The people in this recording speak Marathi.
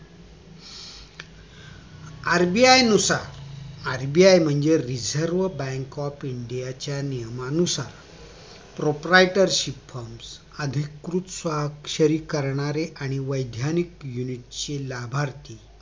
RBI नुसार RBI म्हणजे reserve bank of india च्या नियमानुसार proprietorship firm अधिकृत स्वाक्षरी करणारे आणि वैज्ञानिक unit चे लाभार्थी